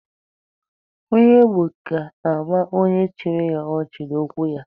Onye ogbi ga-ama onye chiri ya ọchị n'okwu ya.